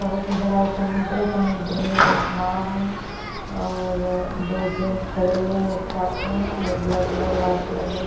बहोत ही बड़ा समुद्र समुद्र में नाव है और दो जेन्स खड़े हुए है एक साथ में और ब्लैक कलर व्हाईट कलर में--